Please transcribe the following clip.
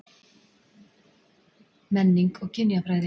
MENNING OG KYNJAFRÆÐI